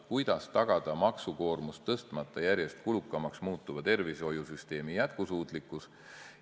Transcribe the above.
Kuidas tagada maksukoormust tõstmata järjest kulukamaks muutuva tervishoiusüsteemi jätkusuutlikkus?